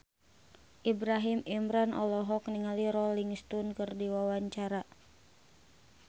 Ibrahim Imran olohok ningali Rolling Stone keur diwawancara